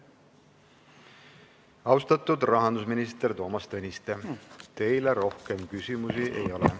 Austatud rahandusminister Toomas Tõniste, teile rohkem küsimusi ei ole.